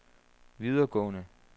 videregående